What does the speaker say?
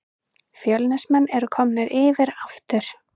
Fjölnismenn eru komnir yfir aftur